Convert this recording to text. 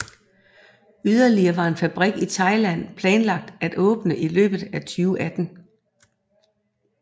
Yderligere var en fabrik i Thailand planlagt til at åbne i løbet af 2018